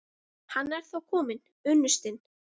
Hann er þá kominn, unnustinn!